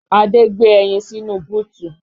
Adé gbé ẹyin sínú búùtù